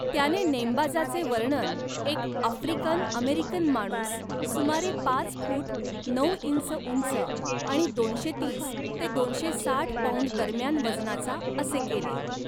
त्याने नेमबाजाचे वर्णन एक आफ्रिकन अमेरिकन माणूस, सुमारे पाच फूट नऊ इंच उंच आणि दोनशे तीस ते दोनशे साठ पौंड दरम्यान वजनाचा असे केले.